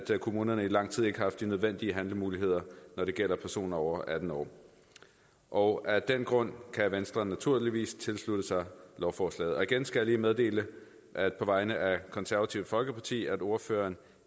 kommunerne i lang tid ikke har haft de nødvendige handlemuligheder når det gælder personer over atten år og af den grund kan venstre naturligvis tilslutte sig lovforslaget og igen skal jeg lige meddele på vegne af det konservative folkeparti at ordføreren